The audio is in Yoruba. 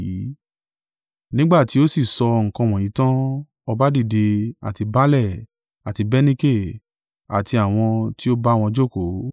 Nígbà tí ó sì sọ nǹkan wọ̀nyí tan, ọba dìde, àti baálẹ̀, àti Bernike, àti àwọn tí o bá wọn jókòó,